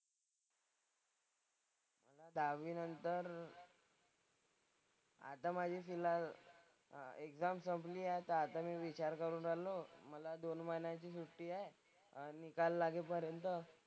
दहावीनंतर आता माझी फिलहाल अह एक्झाम संपली आहे आता. आता मी विचार करून आलो मला दोन महिन्याची सुट्टी आहे निकाल लागेपर्यंत,